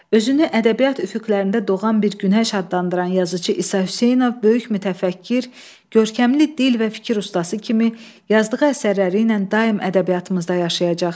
Özünü ədəbiyyat üfüqlərində doğan bir günəş adlandıran yazıçı İsa Hüseynov böyük mütəfəkkir, görkəmli dil və fikir ustası kimi yazdığı əsərləri ilə daim ədəbiyyatımızda yaşayacaq.